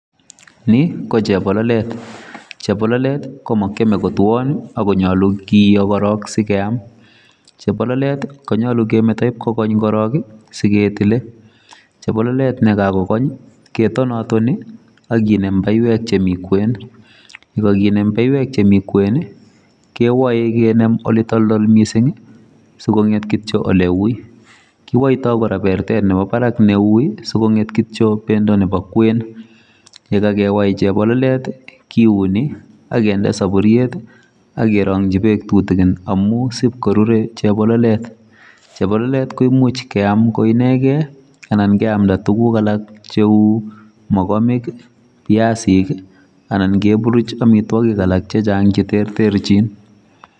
Ni ko chebololet chebololet ko makiame ko twaaan ii akonyaluu korong kiyoo sikeyaam chebololet konyaluu kometaan in kokoony korong ii siketile, chebololet nekakong ketonatoni ii ak kinem baiweek chemii kweeny ,ye kakinem baiweek chemii kweeny ii kewae ak kinem ak kinde ole toltol missing ii sikongeet kityo ole wui ,kiwaitoi kora bertet ne wui ii sikongeet kityo bendo nebo kweeny ye kakewai chebololet kiuni ii ak kinde saburuiet ak keranyii beek tutukiin amuun isipkorure chebololet, chebololet ko imuuch keyaam ko inegeen ii anan keyamdaa tuguuk alaak che kikureen mogomiik ii biasiik ii anan keburuj amitwagiik che chaang che terterjiin.